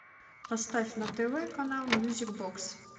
поставь на тв канал мьюзик бокс